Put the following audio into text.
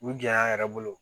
U gɛlɛya yɛrɛ bolo